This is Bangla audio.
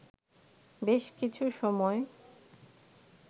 বেশ কিছু সময়